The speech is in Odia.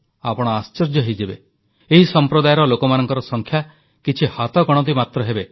ଆପଣ ଆଶ୍ଚର୍ଯ୍ୟ ହୋଇଯିବେ ଏହି ସମ୍ପ୍ରଦାୟର ଲୋକମାନଙ୍କର ସଂଖ୍ୟା କିଛି ହାତଗଣତି ମାତ୍ର ହେବେ